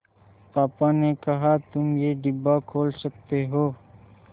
पापा ने कहा तुम ये डिब्बा खोल सकते हो